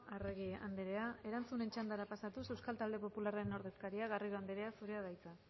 arregi andrea erantzunen txandara pasatuz euskal talde popularraren ordezkaria garrido anderea zurea da hitza